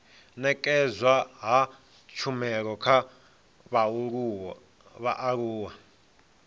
nekedzwa ha tshumelo kha vhaaluwa